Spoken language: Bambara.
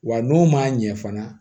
Wa n'o ma ɲɛ fana